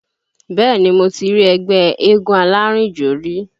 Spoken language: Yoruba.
Bẹ́ẹ̀ni mo ti rí ẹgbẹ́ eégún alárìnjó rí